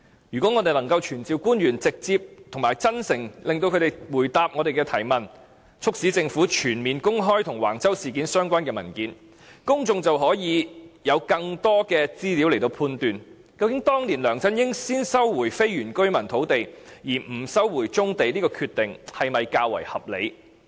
如果我們能夠傳召官員直接及真誠地回答我們的提問，促使政府全面公開與橫洲事件相關的文件，公眾便可以有更多的資料來判斷，究竟當年梁振英先收回非原居民土地而不收回棕地的決定是否較為合理。